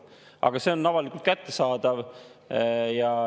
Aga see on avalikult kättesaadav.